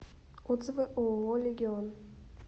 отзывы ооо легион